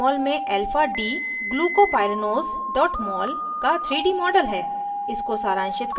और यह jmol में alphadglucopyranose mol का 3d model है